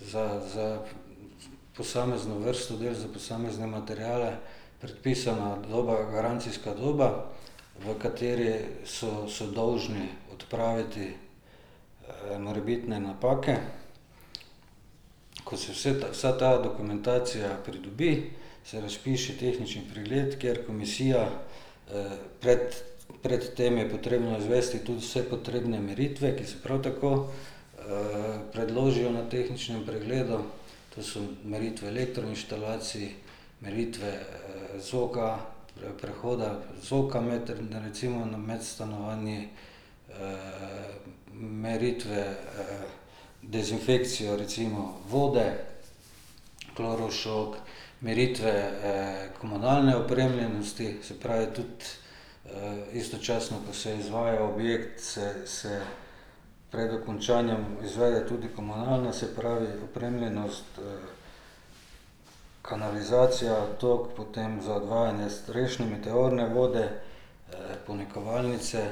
za, za posamezno vrsto del, za posamezne materiale, predpisana doba, garancijska doba, v kateri so so dolžni odpraviti morebitne napake. Ko se vse ta, vsa ta dokumentacija pridobi, se razpiše tehnični pregled, kjer komisija, pred pred tem je potrebno izvesti tudi vse potrebne meritve, ki so prav tako predložijo na tehničnem pregledu, to so meritve elektroinštalacij, meritve zoka, prehoda zoka med, recimo med stanovanju, meritve dezinfekcijo recimo vode, klorošok, meritve komunalne opremljenosti, se pravi, tudi istočasno, ko se izvaja objekt, se se pred dokončanjem izvede tudi komunalna, se pravi opremljenost kanalizacija, toliko, potem za odvajanje strešne meteorne vode, ponikovalnice.